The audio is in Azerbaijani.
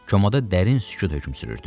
Komada dərin sükut hökm sürürdü.